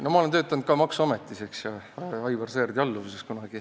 Ma olen kunagi töötanud ka maksuametis, Aivar Sõerdi alluvuses.